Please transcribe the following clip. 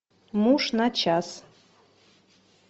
муж на час